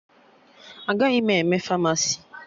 Agaghị m eme Famasi